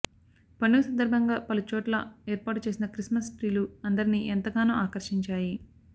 పండుగ సందర్భంగా పలుచోట్ల ఏర్పాటు చేసిన క్రిస్మస్ ట్రీలు అందరినీ ఎంతగానో ఆకర్షించాయి